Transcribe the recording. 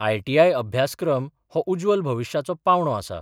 ITI अभ्यासक्रम हो उज्वल भविश्याचो पावंडो आसा.